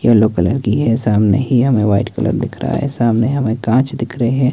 Yellow colour की है सामने ही हमें व्हाईट कलर दिख रहा है सामने हमें कांच दिख रहे हैं।